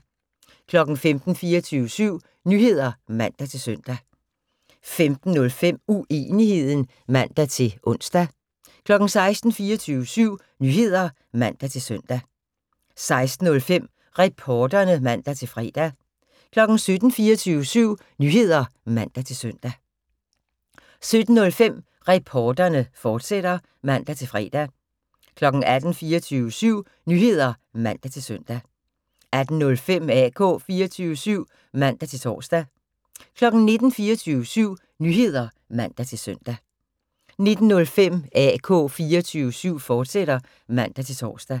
15:00: 24syv Nyheder (man-søn) 15:05: Uenigheden (man-ons) 16:00: 24syv Nyheder (man-søn) 16:05: Reporterne (man-fre) 17:00: 24syv Nyheder (man-søn) 17:05: Reporterne, fortsat (man-fre) 18:00: 24syv Nyheder (man-søn) 18:05: AK 24syv (man-tor) 19:00: 24syv Nyheder (man-søn) 19:05: AK 24syv, fortsat (man-tor)